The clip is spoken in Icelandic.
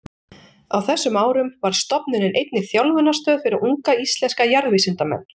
Á þessum árum varð stofnunin einnig þjálfunarstöð fyrir unga íslenska jarðvísindamenn.